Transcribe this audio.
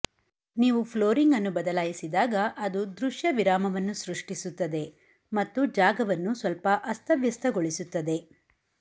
ನೀವು ಫ್ಲೋರಿಂಗ್ ಅನ್ನು ಬದಲಾಯಿಸಿದಾಗ ಅದು ದೃಶ್ಯ ವಿರಾಮವನ್ನು ಸೃಷ್ಟಿಸುತ್ತದೆ ಮತ್ತು ಜಾಗವನ್ನು ಸ್ವಲ್ಪ ಅಸ್ತವ್ಯಸ್ತಗೊಳಿಸುತ್ತದೆ